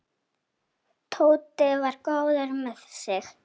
Tóti var góður með sig.